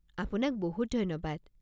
আপোনাক বহুত ধন্যবাদ!